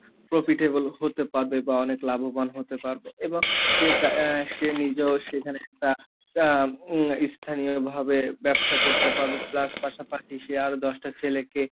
profitable হতে পারবে বা অনেক লাভবান হতে পারবে এবং অ্যা সে নিজেও সেখানে একটা ইস স্থানীয় ভাবে ব্যবসা করতে পারবে প্লাস পাশাপাশি সে আরো দশটা ছেলেকে,